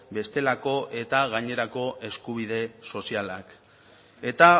bestelako eta gainerako eskubide sozialak eta